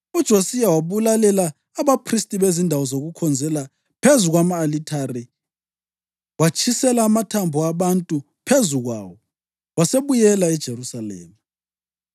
UJosiya wabulalela abaphristi bezindawo zokukhonzela phezu kwama-alithare, watshisela amathambo abantu phezu kwawo. Wasebuyela eJerusalema.